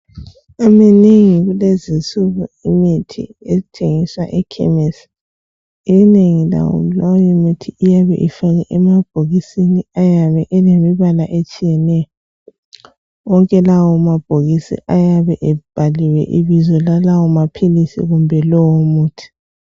Iminengi kulezinsuku imithi ethengiswa ekhemesi inengi layo leyo mithi iyabe ifakwe emabhokisini ayabe elemibala etshiyeneyo wonke lawo mabhokisi ayabe ebhaliwe ibizo lalawo maphilisi kumbe lowo muthi.